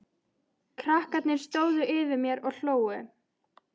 Krakkarnir stóðu yfir mér og hlógu.